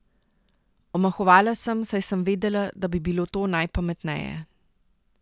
Omahovala sem, saj sem vedela, da bi bilo to najpametneje.